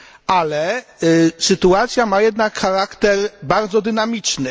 Ale sytuacja ma jednak charakter bardzo dynamiczny.